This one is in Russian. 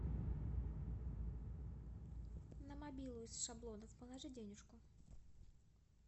на мобилу из шаблонов положи денежку